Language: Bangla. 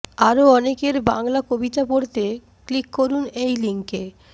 আরও অনেকের বাংলা কবিতা পড়তে ক্লিক করুন এই লিংকে